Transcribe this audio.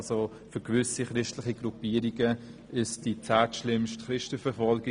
Für gewisse christliche Gruppierungen herrscht in Eritrea die zehntschlimmste Christenverfolgung.